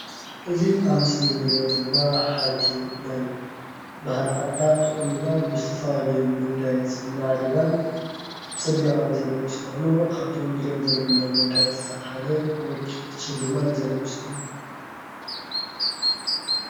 እዚ ኣብ ምስሊ ንሪኦ ዘለና ሓንቲ ናይ ባህሊ ዓዳ ተቖኒና ብዝተፈላለዩ መጋየፅን ማዕሪጋን ፀቢቓን ዘርኢ ምስሊ ኾይኑ ካብቶም ንሪኦም ዘለና መጋየፅታት ሓደ ወርቂ ተሸሊማ ዘርኢ ምስሊ